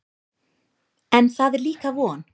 En það er líka von.